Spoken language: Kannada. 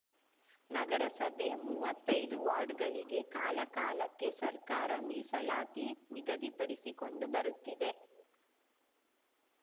ನಗರಸಭೆ ಮುವ್ವತ್ತೈದು ವಾರ್ಡ್‌ಗಳಿಗೆ ಕಾಲಕಾಲಕ್ಕೆ ಸರ್ಕಾರ ಮೀಸಲಾತಿ ನಿಗದಿಪಡಿಸಿಕೊಂಡು ಬರುತ್ತಿದೆ